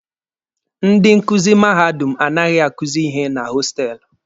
Ndị nkuzi mahadum anaghị akuzi ihe na hostelụ.